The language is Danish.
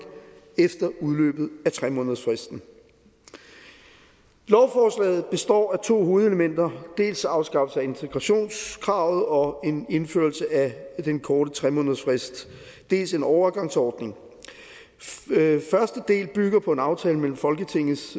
efter udløbet af tre månedersfristen lovforslaget består af to hovedelementer dels afskaffelse af integrationskravet og indførelse af den korte tre månedersfrist dels en overgangsordning første del bygger på en aftale mellem folketingets